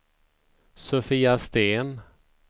Sofia Sten